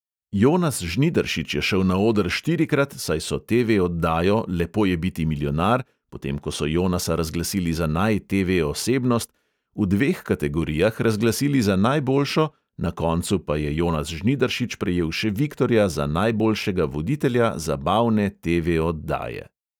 Jonas žnidaršič je šel na oder štirikrat, saj so TV oddajo lepo je biti milijonar potem, ko so jonasa razglasili za naj TV osebnost, v dveh kategorijah razglasili za najboljšo na koncu pa je jonas žnidaršič prejel še viktorja za najboljšega voditelja zabavne TV oddaje.